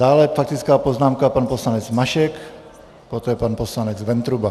Dále faktická poznámka pan poslanec Mašek, poté pan poslanec Ventruba.